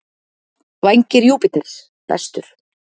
Vængir Júpíters: Bestur.